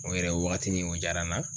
O yɛrɛ o wagatini kun jara n na